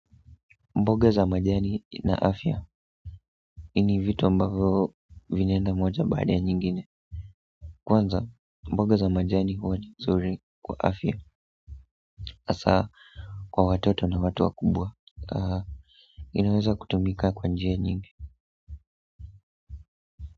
Mboga za majani na afya hii ni vitu ambavyo vinaenda moja baada ya nyingine kwanza mboga za majani huwa ni mzuri kwa afya hasa kwa watoto na watu wakubwa inaweza kutumika kwa njia nyingi.